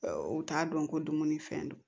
U t'a dɔn ko dumuni fɛn don